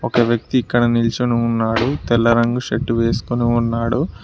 ఒక వ్యక్తి ఇక్కడ నిల్చుని ఉన్నాడు తెల్ల రంగు షర్ట్ వేసుకొని ఉన్నాడు.